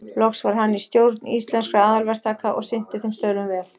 Loks var hann í stjórn Íslenskra aðalverktaka og sinnti þeim störfum vel.